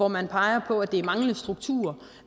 man peger på at det er mangel på struktur